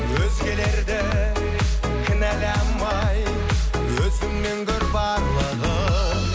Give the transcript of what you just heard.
өзгелерді кінәламай өзіңнен көр барлығын